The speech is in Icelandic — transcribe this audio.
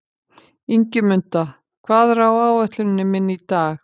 Ingimunda, hvað er á áætluninni minni í dag?